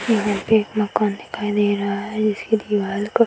यहाँ पे एक मकान दिखाई दे रहा है जिसकी दिवाल का --